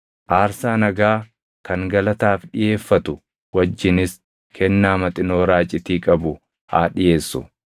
Aarsaa nagaa kan galataaf dhiʼeeffatu wajjinis kennaa maxinoo raacitii qabu haa dhiʼeessu.